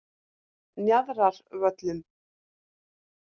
Njarðarvöllum